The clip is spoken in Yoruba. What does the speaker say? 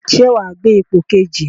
Ṣé wàá gbé ipò kejì?